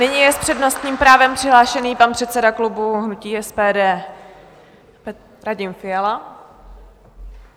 Nyní je s přednostním právem přihlášený pan předseda klubu hnutí SPD Radim Fiala.